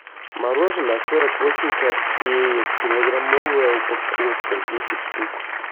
мороженое сорок восемь копеек килограммовая упаковка десять штук